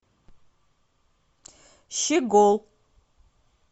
щегол